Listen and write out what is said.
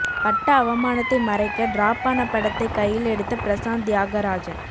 பட்ட அவமானத்தை மறைக்க டிராப் ஆன படத்தைக் கையிலெடுத்த பிரசாந்த் தியாகராஜன்